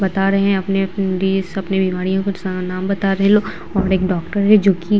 बता रहे है अपने-अपने डिस अपने बिमारिओ को स नाम बता रहे है ये लोग और एक डॉक्टर है जो की-